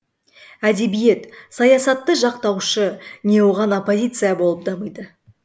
әдебиет саясатты жақтаушы не оған оппозиция болып дамиды